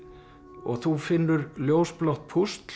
og þú finnur ljósblátt púsl